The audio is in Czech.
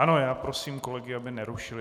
Ano, já prosím kolegy, aby nerušili.